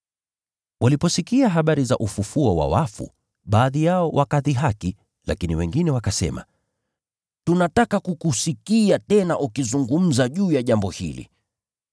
Waliposikia habari za ufufuo wa wafu, baadhi yao wakadhihaki, lakini wengine wakasema, “Tunataka kukusikia tena ukizungumza juu ya jambo hili.”